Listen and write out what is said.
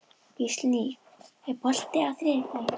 Gíslný, er bolti á þriðjudaginn?